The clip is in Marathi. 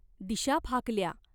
दिशा फाकल्या.